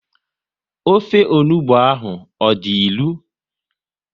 Ofe onugbu ahụ ọ dị ilu?